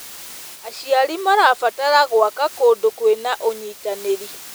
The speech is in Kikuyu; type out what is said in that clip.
Aciari marabatara gwaka kũndũ kwĩna ũnyitanĩri.